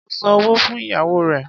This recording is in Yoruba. Mo san owó fún ìyàwó rẹ̀.